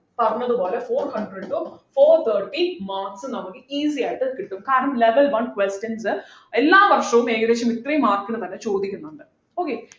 പറഞ്ഞത് പോലെ four hundred to four thirty marks നമ്മക്ക് easy ആയിട്ട് കിട്ടും കാരണം level one questions എല്ലാ വർഷവും ഏകദേശം ഇത്രേം marks നു തന്നെ ചോദിക്കുന്നുണ്ട് okay